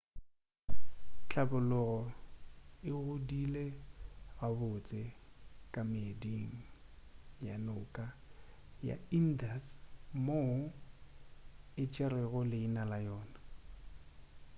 hlabologo e godile gabotse ka meeding ya noka ya indus moo e tšerego leina la yona